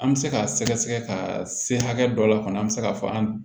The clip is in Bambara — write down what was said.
An bɛ se ka sɛgɛsɛgɛ ka se hakɛ dɔ la kɔni an bɛ se k'a fɔ an